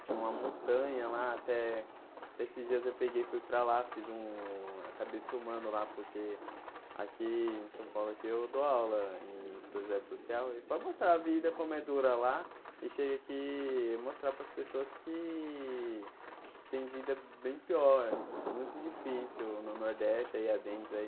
Tinha uma montanha lá, até até esses dias eu peguei e fui para lá, fiz um... Acabei filmando lá, porque aqui em São Paulo, aqui eu dou aula em Projeto Social e para mostrar a vida, como é dura lá, e chegue aqui e mostrar paras pessoas que têm vida bem pior, muito difícil no Nordeste, aí adentro, aí...